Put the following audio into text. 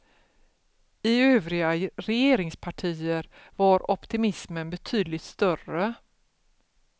I övriga regeringspartier var optimismen betydligt större.